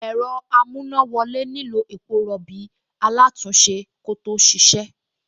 Ẹ̀rọ amúnáwọlé nílò epo rọ̀bì alátùn-únṣe kó tó ṣíṣe